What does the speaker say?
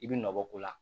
I bi nɔ bɔ ko la